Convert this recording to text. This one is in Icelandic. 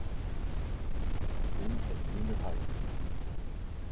Hún er pínu hæg.